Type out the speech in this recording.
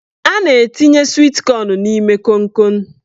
A na-etinye swit kọn n'ime konkon.